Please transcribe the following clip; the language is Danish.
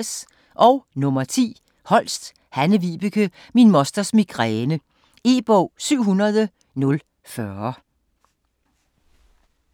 Holst, Hanne-Vibeke: Min mosters migræne E-bog 700040